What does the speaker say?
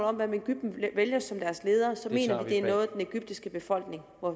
om hvem egypten vælger som deres leder så mener vi at det er noget den egyptiske befolkning